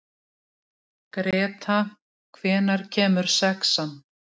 Greta, hvenær kemur sexan?